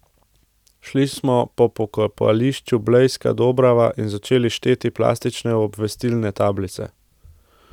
Šli smo po pokopališču Blejska Dobrava in začeli šteti plastične obvestilne tablice.